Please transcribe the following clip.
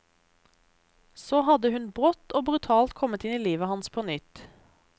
Så hadde hun brått og brutalt kommet inn i livet hans på nytt.